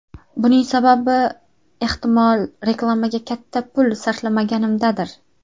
Buning sababi ehtimol reklamaga katta pul sarflamaganimdadir.